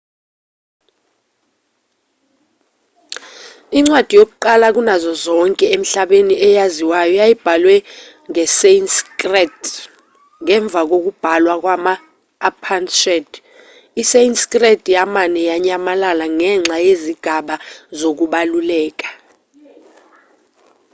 incwadi yakuqala kunazo zonke emhlabeni eyaziwayo yayibhalwe ngesanskrit ngemva kokubhalwa kwama-upanishad isanskrit yamane yanyamalala ngenxa yezigaba zokubaluleka